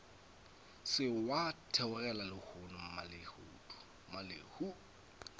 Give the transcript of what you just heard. se wa theogela lehono mmalehu